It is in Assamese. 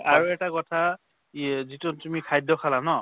আৰু এটা কথা যিটো তুমি খাদ্য খালা ন